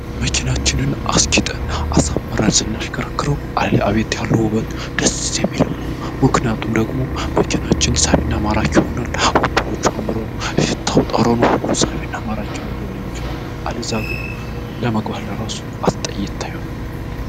መኪናችንን አስጊጠን አሳምረን ስናሽከረክረው እረአቤት ያሉው ውበት ድስ የሚል ነው። ምክንያቱም ደግሞ መኪናችን ሳቢና ማራክ ይሆናል። ወንበሮቹ አምረው፣ ሽታቸው ጠሮኑ ሁሉ ሳቢና ማራክ ሆኖን ሊሆን የሚችሉ አለዛ ግን ለመግባት ራሱ አስጠይታ ይሆናል።